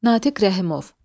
Natiq Rəhimov.